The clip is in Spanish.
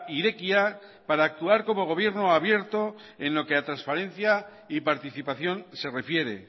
irekia para actuar como gobierno abierto en lo que a transparencia y participación se refiere